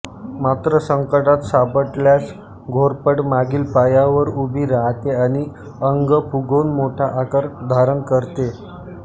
मात्र संकटात सापडल्यास घोरपड मागील पायावर उभी राहते आणि अंग फुगवून मोठा आकार धारण करते